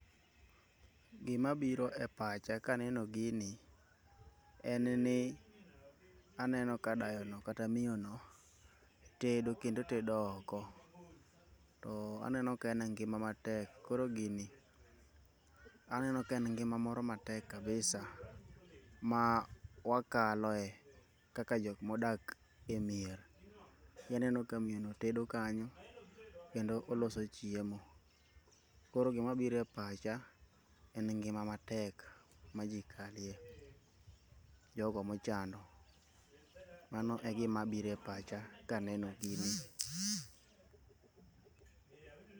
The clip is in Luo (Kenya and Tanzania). Gima biro e pacha kaneno gini enni, aneno kadayono kata miono tedo kendo tedo oko. To aneno ka en e ngima matek, koro gini aneono kaen ngima moro matek kabisa mawakaloe kaka jok modak e mier. ineno ka miono tedo kanyo kendo oloso chiemo. Koro gima biro e pacha en ngima matek majii kalie, jogo mochano. Mano e gima bire pacha kaneno gini.